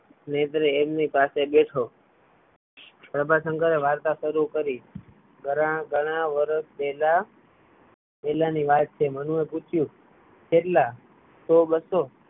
નેત્રે એમની પાસે બેઠો પ્રભાશંકરે વાર્તા શરુ કરી પહેલા પહેલાની વાત છે મનુ એ પૂછ્યું કેટલા સો બસ્સો